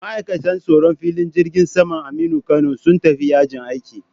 Ma'aikatan tsaron filin jirgin saman Aminu Kano sun tafi yajin aiki